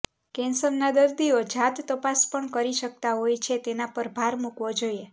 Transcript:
કેન્સરના દર્દીઓ જાત તપાસ પણ કરી શકતા હોય છે તેના પર ભાર મુકાવો જોઈએ